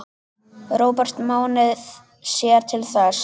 Róbert Máni sér til þess.